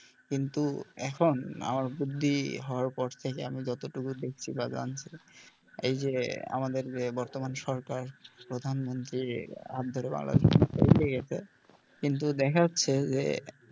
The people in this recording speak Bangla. কিন্তু এখন, আমার বুদ্ধি হওয়ার পর থেকে আমি যতটুকু দেখছি বা জানছি এই যে আমাদের যে বর্তমান সরকার প্রধানমন্ত্রী কিন্তু দেখা যাচ্ছে যে,